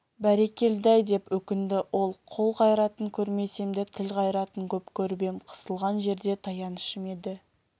бәрекелді-ай деп өкінді ол қол қайратын көрмесем де тіл қайратын көп көріп ем қысылған жерде таянышым еді